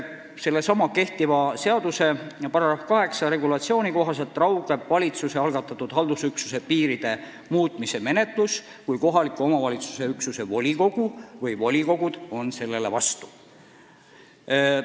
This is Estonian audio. Sellesama seaduse § 8 regulatsiooni kohaselt valitsuse algatatud haldusüksuse piiride muutmise menetlus raugeb, kui kohaliku omavalitsuse üksuse volikogu või volikogud on sellele vastu.